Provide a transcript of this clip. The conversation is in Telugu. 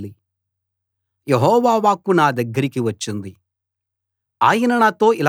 యెహోవా వాక్కు నా దగ్గరకి వచ్చింది ఆయన నాతో ఇలా చెప్పాడు